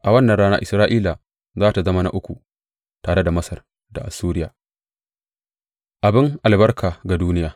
A wannan rana Isra’ila za tă zama na uku, tare da Masar da Assuriya, abin albarka ga duniya.